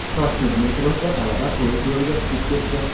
Toshkent metrosida talaba poyezd yo‘liga tushib ketdi.